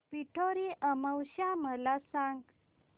पिठोरी अमावस्या मला सांग